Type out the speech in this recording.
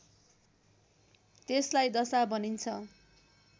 त्यसलाई दशा भनिन्छ